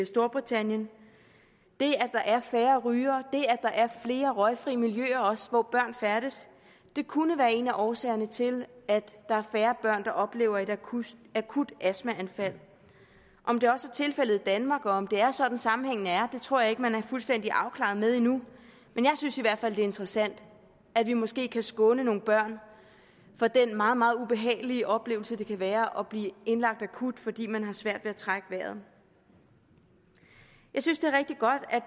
storbritannien det at der er færre rygere det at der er flere røgfri miljøer også hvor børn færdes kunne være en af årsagerne til at der er færre børn der oplever et akut akut astmaanfald om det også er tilfældet i danmark og om det er sådan sammenhængen er tror jeg ikke man er fuldstændig afklaret med endnu men jeg synes i hvert fald er interessant at vi måske kan skåne nogle børn for den meget meget ubehagelige oplevelse det kan være at blive indlagt akut fordi man har svært ved at trække vejret jeg synes